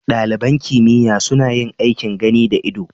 Ɗaliban kimiyya suna yin aikin gani da ido